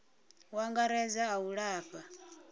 u angaredza a u lafha